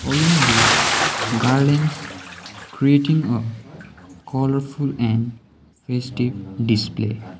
along with garlands creating a colourful and festive display.